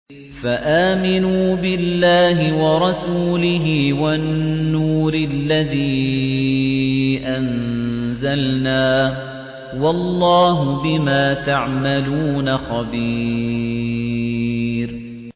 فَآمِنُوا بِاللَّهِ وَرَسُولِهِ وَالنُّورِ الَّذِي أَنزَلْنَا ۚ وَاللَّهُ بِمَا تَعْمَلُونَ خَبِيرٌ